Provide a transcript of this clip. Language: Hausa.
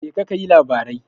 Jeka kayi labarai.